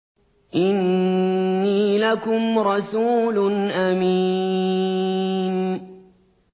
إِنِّي لَكُمْ رَسُولٌ أَمِينٌ